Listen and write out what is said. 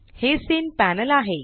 हे scene panel आहे